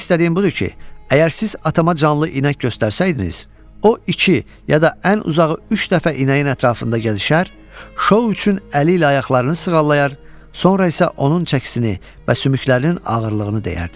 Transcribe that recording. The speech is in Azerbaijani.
Demək istədiyim budur ki, əgər siz atama canlı inək göstərsəydiniz, o iki ya da ən uzağı üç dəfə inəyin ətrafında gəzişər, şou üçün əli ilə ayaqlarını sığallayar, sonra isə onun çəkisini və sümüklərinin ağırlığını dəyərdi.